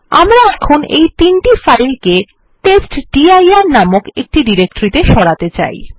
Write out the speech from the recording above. আমরা এখন এই তিনটি ফাইল কে টেস্টডির নামক একটি ডিরেকটরি ত়ে সরাতে চাই